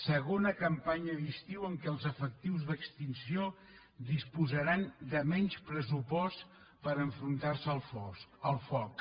segona campanya d’estiu en què els efectius d’extinció disposaran de menys pressupost per enfrontar se al foc